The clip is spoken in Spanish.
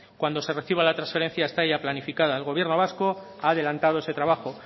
cuando se reciba la transferencia está ya planificada el gobierno vasco ha adelantado ese trabajo